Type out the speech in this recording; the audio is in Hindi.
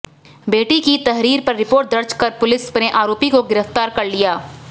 बेटी की तहरीर पर रिपोर्ट दर्ज कर पुलिस ने आरोपी को गिरफ्तार कर लिया है